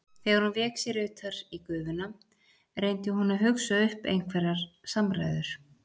Þegar hún vék sér utar í gufuna reyndi hún að hugsa upp einhverjar samræður.